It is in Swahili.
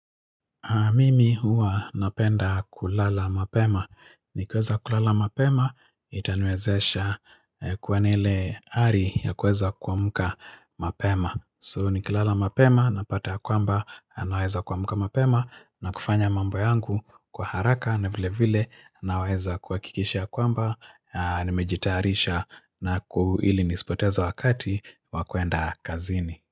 Mimi huwa napenda kulala mapema. Nikiweza kulala mapema, itaniwezesha kuwa na ile ari ya kuweza kuamka mapema. So nikilala mapema, napata ya kwamba, naweza kuamka mapema, na kufanya mambo yangu kwa haraka, na vile vile, naweza kuhakikisha ya kwamba, nimejitayarisha ili nisipoteza wakati, wa kuenda kazini.